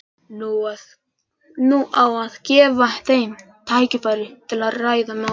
Nú á að gefa þeim tækifæri til að ræða málin.